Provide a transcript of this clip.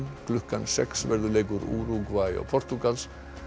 klukkan sex verður leikur Úrúgvæ og Portúgals